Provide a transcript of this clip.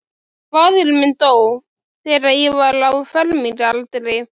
Faðir minn dó, þegar ég var á fermingaraldri.